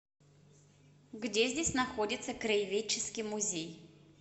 где здесь находится краеведческий музей